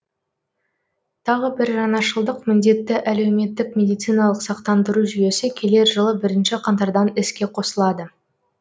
тағы бір жаңашылдық міндетті әлеуметтік медициналық сақтандыру жүйесі келер жылы бірінші қаңтардан іске қосылады